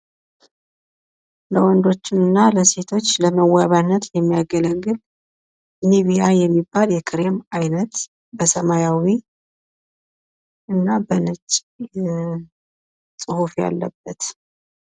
ለወንዶች እና ለሴቶች ለመዋቢነት የሚያገለግል ኒቪያ የሚባል የክሬም አይነት በሰማያዊ እና በነጭ ጽሁፍ ያለበት